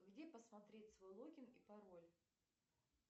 где посмотреть свой логин и пароль